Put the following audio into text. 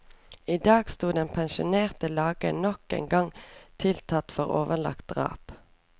I dag sto den pensjonerte legen nok en gang tiltalt for overlagt drap.